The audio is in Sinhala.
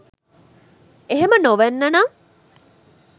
එහෙම නොවෙන්න නම්